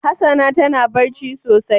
Hassana tana ɓarci sosai.